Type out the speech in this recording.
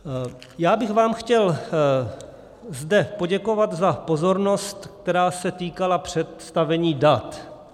Já bych vám zde chtěl poděkovat za pozornost, která se týkala představení dat.